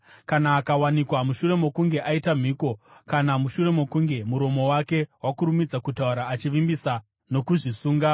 “Kana akawanikwa mushure mokunge aita mhiko, kana mushure mokunge muromo wake wakurumidza kutaura achivimbisa nokuzvisunga,